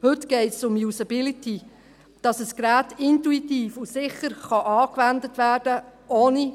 Heute geht es um Usability, dass ein Gerät ohne grosse Vorbereitung intuitiv und sicher angewendet werden kann.